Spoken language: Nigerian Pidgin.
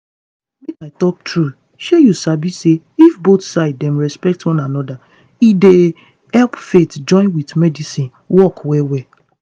make i talk true shey you sabi say if both side dem respect one anoda e dey help faith join with medicine work well well.